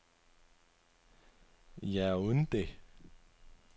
Yaoundé